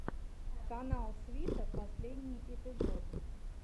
канал свита последний эпизод